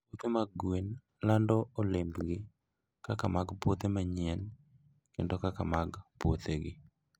Puothe mag gwen lando olembegi kaka mag puothe manyien kendo kaka mag puothegi.